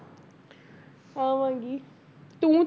ਆਵਾਂਗੀ ਤੂੰ